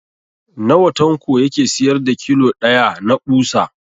Nawa Tanko yake siyar da kilo ɗaya na ɓusa?